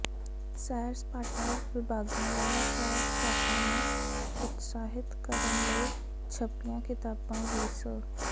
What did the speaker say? ਸੈਰ ਸਪਾਟਾ ਵਿਭਾਗਾਂ ਵੱਲੋਂ ਸੈਰ ਸਪਾਟਾ ਨੂੰ ਉਤਸ਼ਾਹਿਤ ਕਰਨ ਲਈ ਛਪੀਆਂ ਕਿਤਾਬਾਂ ਵੀ ਸ